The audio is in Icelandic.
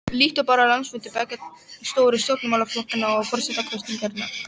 Líttu bara á landsfundi beggja stóru stjórnmálaflokkanna og forsetakosningarnar.